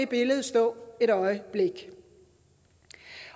billede stå et øjeblik